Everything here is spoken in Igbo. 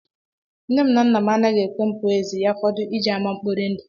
Nne m na nna m anaghị ekwe m pụọ ezi ma ya fọdụ ije ama mkpori ndụ